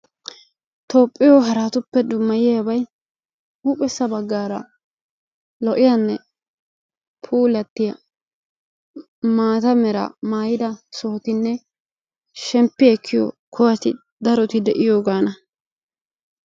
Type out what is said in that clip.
toophphiyoo haratuppe dummayiyaabay huuphessa baggaara lo"iyaanne puulattiyaa maata meraa maayida sohotinne shemppi ekkiyoo kuwati daroti de'iyoogaana.